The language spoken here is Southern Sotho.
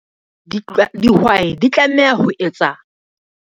Dihwai di tlameha ho etsa.